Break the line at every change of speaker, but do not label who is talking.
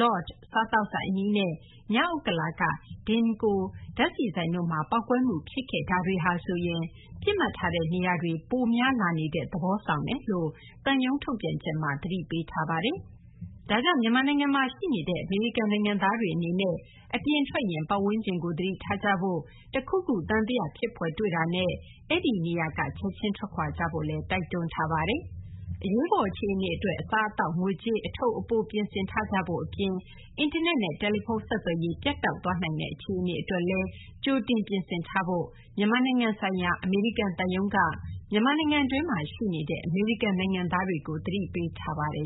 Lord စားသောက်ဆိုင် အနီးနဲ့ မြောက်ဥက္ကလာ က Denko ဓာတ်ဆီဆိုင်တို့မှာ ပေါက်ကွဲမှု ဖြစ်ခဲ့တာတွေဟာဆိုရင် ပစ်မှတ်ထားတဲ့ နေရာတွေ ပိုများလာနေတဲ့ သဘောဆောင်နေတယ်လို့လည်း သံရုံး ထုတ်ပြန်ချက်မှာ သတိပေးထားပါတယ်။ ဒါကြောင့် မြန်မာနိုင်ငံမှာ ရှိနေတဲ့ အမေရိကန် နိုင်ငံသားတွေ အနေနဲ့ အပြင်ထွက်ရင်လည်း ပတ်ဝန်းကျင်ကို သတိထားကြဖို့၊ တခုခု သံသယ ဖြစ်ဖွယ် တွေ့တာနဲ့ အဲဒီနေရာကနေ ချက်ချင်း ထွက်ခွာကြဖို့လည်း တိုက်တွန်းထားပါတယ်။ အရေးပေါ် အခြေအနေ အတွက် အစားအသောက် ငွေကြေး အထုပ်အပိုး ပြင်ဆင်ထားကြဖို့ အပြင် အင်တာနက်နဲ့ တယ်လီဖုန်း ဆက်သွယ်ရေး ပြတ်တောက်သွားနိုင်တဲ့ အခြေအနေ အတွက်လည်း ကြိုတင် ပြင်ဆင်ထားဖို့ မြန်မာနိုင်ငံဆိုင်ရာ အမေရိကန် သံရုံးက မြန်မာနိုင်ငံတွင်းမှာ ရှိနေတဲ့ အမေရိကန် နိုင်ငံသားတွေကို သတိပေးထားပါတယ်